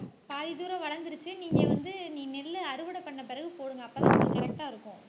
பாதி தூரம் வளந்துருச்சு நீங்க வந்து நீ நெல்லு அறுவடை பண்ண பிறகு போடுங்க அப்பதான் உங்களுக்கு correct ஆ இருக்கும்.